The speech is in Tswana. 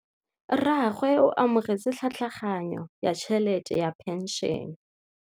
Rragwe o amogetse tlhatlhaganyô ya tšhelête ya phenšene.